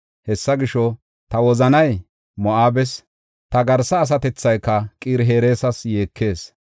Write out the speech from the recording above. Hessa gisho, ta wozanay Moo7abes, ta garsa asatethayka Qir-Hereesas yeekees.